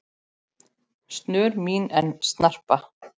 snör mín en snarpa